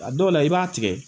A dɔw la i b'a tigɛ